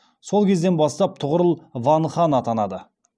сол кезден бастап тұғырыл ван хан атанады